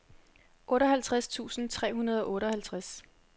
otteoghalvtreds tusind tre hundrede og otteoghalvtreds